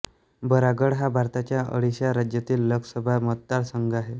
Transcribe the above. बरागढ हा भारताच्या ओडिशा राज्यातील लोकसभा मतदारसंघ आहे